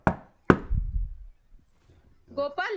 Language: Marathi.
गोपाल